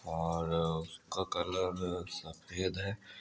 और क क कलर सफ़ेद है